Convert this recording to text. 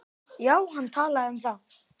Já, hann talaði um það.